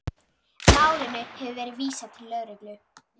Málinu hefur verið vísað til lögreglu